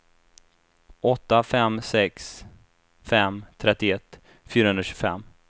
åtta fem sex fem trettioett fyrahundratjugofem